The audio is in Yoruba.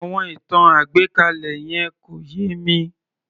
Àwọn ìtàn àgbékalẹ̀ yẹn kò yé mi